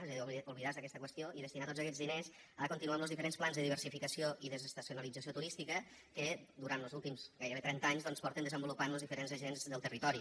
és a dir oblidar se d’aquesta qüestió i destinar tots aquests diners a continuar amb los diferents plans de diversificació i desestacionalització turística que durant los últims gairebé trenta anys doncs porten desenvolupant los diferents agents del territori